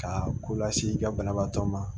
Ka ko lase i ka banabaatɔ ma